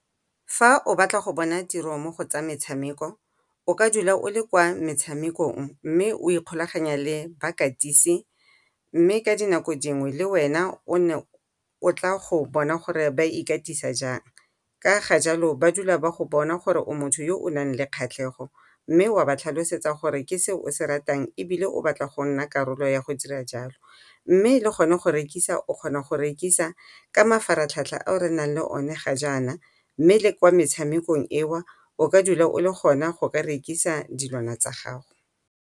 Fa o batla go bona tiro mo go tsa metshameko o ka dula o le kwa metshamekong mme o ikgolaganya le bakatisi, mme ka dinako dingwe le wena o ne o tla go bona gore ba ikatisa jang. Ka ga jalo ba dula ba go bona gore o motho o o nang le kgatlhego, mme wa ba tlhalosetsa gore ke se o se ratang ebile o batla go nna karolo ya go dira jalo. Mme le gone go rekisa o kgona go rekisa ka mafaratlhatlha ao re nang le o ne ga jana, mme le kwa metshamekong eo o ka dula o le gona go ka rekisa dilwana tsa gago.